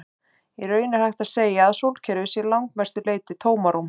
Í raun er hægt að segja að sólkerfið sé að langmestu leyti tómarúm.